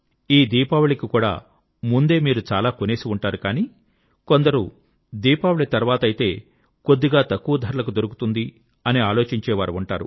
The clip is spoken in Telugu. ఈ దీపావళికి కూడా ముందే మీరు చాలా కొనేసి ఉంటారు గానీ కొందరు దీపావళి తర్వాతైతే కొద్దిగా తక్కువ ధరలకు దొరుకుతుంది అని ఆలోచించే వారు ఉంటారు